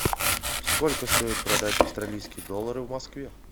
сколько стоит продать австралийские доллары в москве